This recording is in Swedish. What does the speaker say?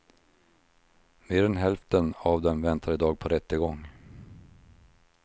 Mer än hälften av dem väntar idag på rättegång.